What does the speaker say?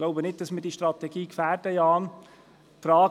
Ich glaube nicht, dass wir die Strategie gefährden, Jan Gnägi.